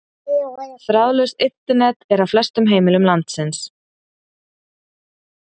Þráðlaust Internet er á flestum heimilum landsins.